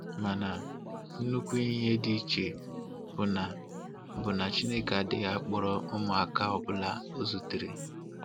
Mana nnukwu ihe dị iche bụ na bụ na Chineke adịghị akpọrọ ụmụaka ọbụla o zutere.